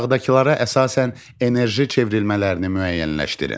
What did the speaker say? Aşağıdakılara əsasən enerji çevrilmələrini müəyyənləşdirin.